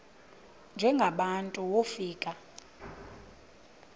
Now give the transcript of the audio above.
njengaba bantu wofika